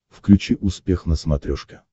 включи успех на смотрешке